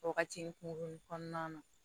Wagati ni kurun kɔnɔna na